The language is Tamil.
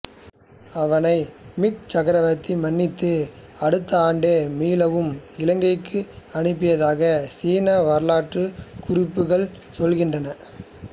அவனை மிங் சக்கரவர்த்தி மன்னித்து அடுத்த ஆண்டே மீளவும் இலங்கைக்கு அனுப்பியதாக சீன வரலாற்றுக் குறிப்புகள் சொல்கின்றன